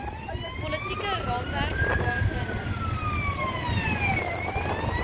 politieke raamwerk waarbinne